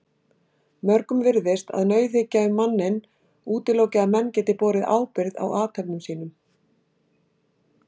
Mörgum virðist að nauðhyggja um manninn útiloki að menn geti borið ábyrgð á athöfnum sínum.